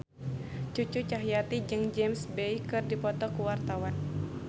Cucu Cahyati jeung James Bay keur dipoto ku wartawan